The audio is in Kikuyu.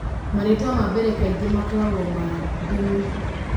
Marĩtwa ma mbere kaingĩ makoragwo ma ndini